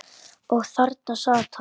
Og þarna sat hann.